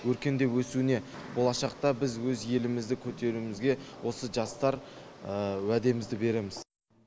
өркендеп өсуіне болашақта біз өз елімізді көтеруімізге осы жастар уәдемізді береміз